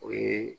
O ye